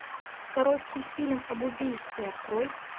короткий фильм об убийстве открой